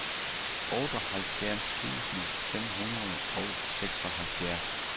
otteoghalvfjerds tusind fem hundrede og seksoghalvfjerds